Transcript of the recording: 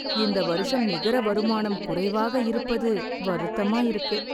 இந்த வருஷம் நிகர வருமானம் குறைவாக இருப்பது வருத்தமா இருக்கு.